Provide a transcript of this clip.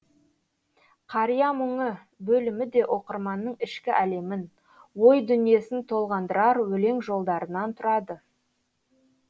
қария мұңы бөлімі де оқырманның ішкі әлемін ой дүниесін толғандырар өлең жолдарынан тұрады